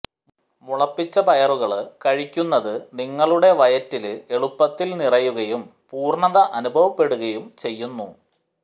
മുളപ്പിച്ച പയറുകള് കഴിക്കുന്നത് നിങ്ങളുടെ വയറ്റില് എളുപ്പത്തില് നിറയുകയും പൂര്ണ്ണത അനുഭവപ്പെടുകയും ചെയ്യുന്നു